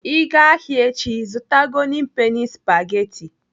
Ị gaa ahịa echi, zụta golden penny spageti.